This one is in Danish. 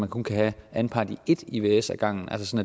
kunne have anpart i ét ivs af gangen altså